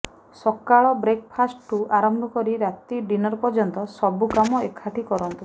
ସକାଳ ବ୍ରେକଫାଷ୍ଟଠୁ ଆରମ୍ଭ କରି ରାତି ଡିନର ପର୍ଯ୍ୟନ୍ତ ସବୁ କାମ ଏକାଠି କରନ୍ତୁ